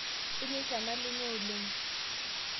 Inyeita nalume oleng